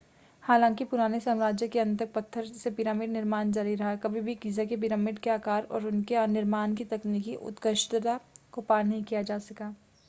हालांकि पुराने साम्राज्य के अंत तक पत्थर से पिरामिड निर्माण जारी रहा कभी भी गीज़ा के पिरामिड के आकार और उनके निर्माण की तकनीकी उत्कृष्टता को पार नहीं किया जा सका